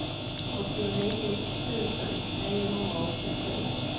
åttionio tusen niohundraåttiosju